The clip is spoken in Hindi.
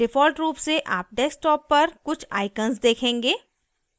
default रूप से आप desktop पर कुछ icons देखेंगे